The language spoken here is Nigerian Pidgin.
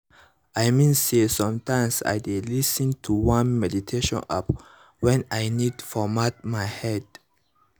i mean say sometimes i dey lis ten to one meditation app when i need format my mind